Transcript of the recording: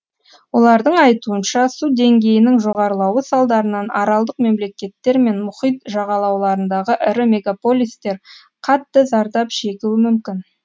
олардың айтуынша су деңгейінің жоғарлауы салдарынан аралдық мемлекеттер мен мұхит жағалауларындағы ірі мегаполистер қатты зардап шегуі мүмкін